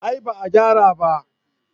A'a ba a gyara ba